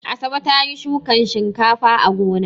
Asabe ta yi shukan shinkafa a gona.